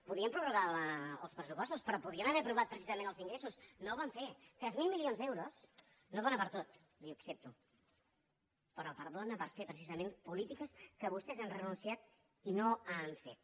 podien prorrogar els pressupostos però podien haver aprovat precisament els ingressos no ho van fer tres mil milions d’euros no donen per a tot li ho accepto però dóna per fer precisament polítiques que vostès han renunciat i que no han fet